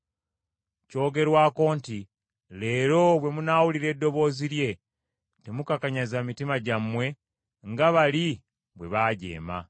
Kyogerwako nti, “Leero bwe munaawulira eddoboozi lye temukakanyaza mitima gyammwe nga bwe mwakola bwe mwajeema.”